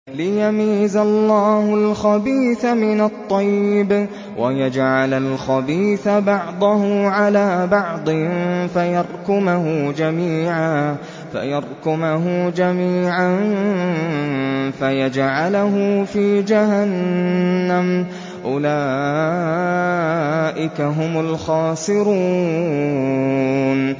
لِيَمِيزَ اللَّهُ الْخَبِيثَ مِنَ الطَّيِّبِ وَيَجْعَلَ الْخَبِيثَ بَعْضَهُ عَلَىٰ بَعْضٍ فَيَرْكُمَهُ جَمِيعًا فَيَجْعَلَهُ فِي جَهَنَّمَ ۚ أُولَٰئِكَ هُمُ الْخَاسِرُونَ